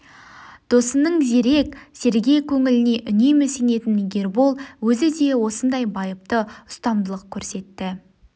досының зерек сергек көңіліне үнемі сенетін ербол өзі де осындай байыпты ұстамдылық көрсетті